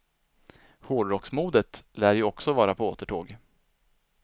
Hårdrocksmodet lär ju också vara på återtåg.